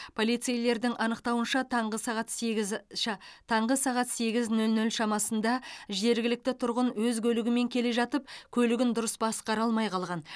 полицейлердің анықтауынша таңғы сағат сегіз ша таңғы сағат сегіз нөл нөл шамасында жергілікті тұрғын өз көлігімен келе жатып көлігін дұрыс басқара алмай қалған